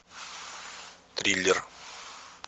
триллер